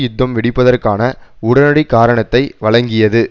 யுத்தம் வெடிப்பதற்கான உடனடி காரணத்தை வழங்கியது